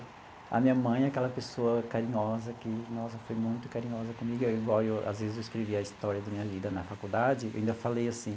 A minha mãe é aquela pessoa carinhosa que, nossa, foi muito carinhosa comigo, igual eu às vezes eu escrevia a história da minha vida na faculdade, eu ainda falei assim.